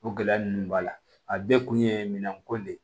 O gɛlɛya ninnu b'a la a bɛɛ kun ye minɛn ko de ye